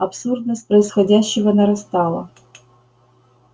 абсурдность происходящего нарастала